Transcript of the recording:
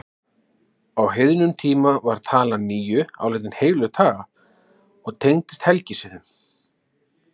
Á heiðnum tíma var talan níu álitin heilög tala og tengdist helgisiðum.